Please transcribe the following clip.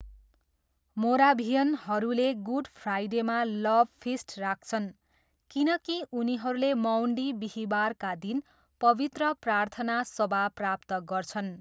मोराभियनहरूले good फ्राइडेमा love feast राख्छन् किनकि उनीहरूले मौन्डी बिहीबारका दिन पवित्र प्रार्थना सभा प्राप्त गर्छन्।